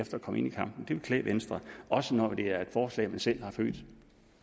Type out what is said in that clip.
at komme ind i kampen det ville klæde venstre også når det er et forslag man selv har født